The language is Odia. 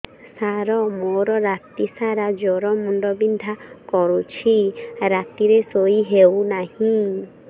ସାର ମୋର ରାତି ସାରା ଜ୍ଵର ମୁଣ୍ଡ ବିନ୍ଧା କରୁଛି ରାତିରେ ଶୋଇ ହେଉ ନାହିଁ